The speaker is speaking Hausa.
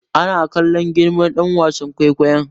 Ana kallon girma ɗan wasan kwaikwayo